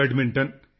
badminton